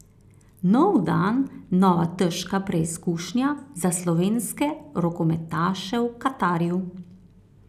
Nov dan, nova težka preizkušnja za slovenske rokometaše v Katarju.